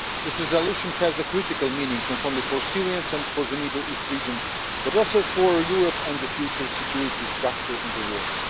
This resolution has a critical meaning not only for Syrians and for the Middle East region, but also for Europe and the future security structure in the world.